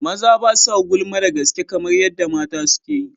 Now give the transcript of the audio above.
Maza ba sa gulma da gaske kamar yadda mata suke yi.